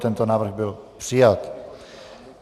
Tento návrh byl přijat.